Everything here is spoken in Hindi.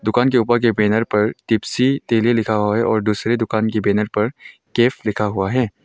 दुकान के ऊपर के बैनर पर टिप्सी टेली लिखा हुआ है और दूसरे दुकान के बैनर पर कैफ लिखा हुआ है।